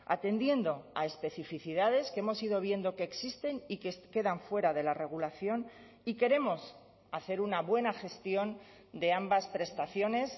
atendiendo a especificidades que hemos ido viendo que existen y que quedan fuera de la regulación y queremos hacer una buena gestión de ambas prestaciones